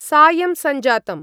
सायं सञ्जातम्।